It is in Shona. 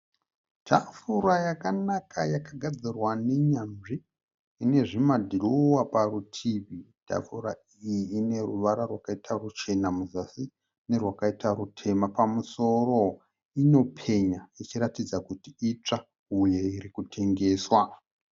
Tafura yakanaka yakagadzirwa nenyanzvi ine zvimadhirowa parutivi. Tafura iyi ine ruvara rwakaita ruchena muzasi nerwakaita rutema pamusoro. Inopenya ichiratidza kuti itsva uye iri kutengeswa.